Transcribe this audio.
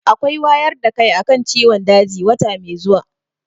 Akwai wayar da kai a kan ciwon daji wata mai zuwa.